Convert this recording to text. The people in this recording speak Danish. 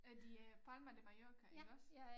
Er det øh Palma de Mallorca iggås